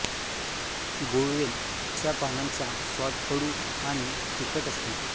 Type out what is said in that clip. गुळवेल च्या पानांचा स्वाद कडू आणि तिखट असतो